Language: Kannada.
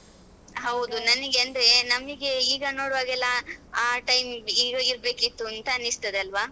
ಹೌದು ನನ್ಗೆ ಅಂದ್ರೆ ನಮಗೆ ಈಗ ನೋಡುವಾಗ ಎಲ್ಲ ಆ time ಈಗ ಇರ್ಬೇಕಿತ್ತು ಅಂತ ಅನಿಸ್ತದೆ ಅಲ್ವಾ?